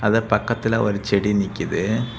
இந்த பக்கத்துல ஒரு செடி நிக்குது.